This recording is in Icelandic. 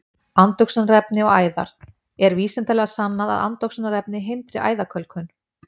Andoxunarefni og æðar: Er vísindalega sannað að andoxunarefni hindri æðakölkun?